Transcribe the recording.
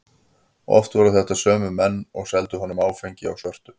Oft voru þetta sömu menn og seldu honum áfengi á svörtu.